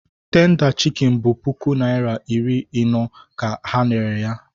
Tenda chikin bụ puku naịra iri ino ka ha rere ya.